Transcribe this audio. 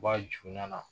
Ba juda la